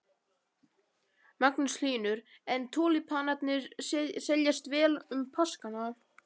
Magnús Hlynur: En túlípanarnir seljast vel um páskana?